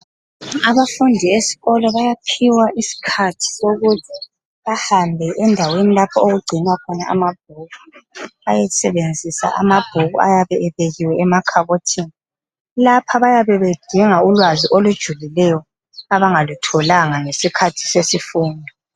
Abafundi eskolo bayaphiwa isikhathi sokuthi bahambe endaweni lapho okugcinwa khona amabhuku bayesebenzisa amabhuku ayabe ebekiwe emakhabothini, lapha bayabe bedinga ulwazi olujulileyo abangalutholanga ngesikhathi sesifundo.